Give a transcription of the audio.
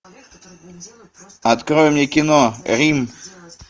открой мне кино рим